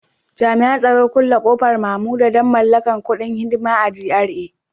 Jami'an tsaro Kulle kofar Mamuda don mallakar kudin hidima a GRA